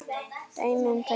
Dæmi um tækni